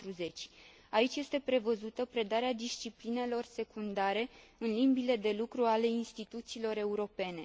40. Aici este prevăzută predarea disciplinelor secundare în limbile de lucru ale instituțiilor europene.